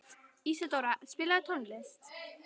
Ísadóra, spilaðu tónlist.